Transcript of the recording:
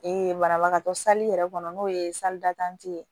banabagatɔ yɛrɛ kɔnɔ n'o ye ye